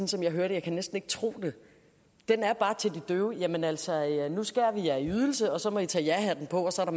som jeg hører det jeg kan næsten ikke tro det jamen altså nu skærer vi jer i ydelse og så må i tage jahatten på og så er